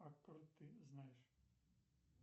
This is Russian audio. откуда ты знаешь